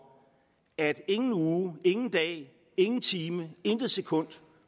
at arbejdsløsheden ingen uge ingen dag ingen time og intet sekund